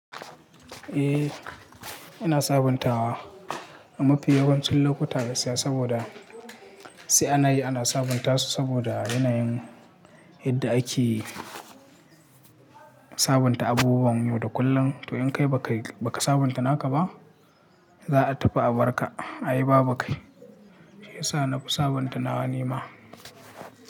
Eh, ina sabuntawa. Mu fi yawancin lokuta gaskiya saboda sai ana yi ana sabunta su saboda yanayin yadda ake sabunta abubuwan yau da kullum. To in kai ba ka sabunta naka ba, za a tafi a bar ka. Ayi babukai. Shiyasa na fi sabunta nawa nima.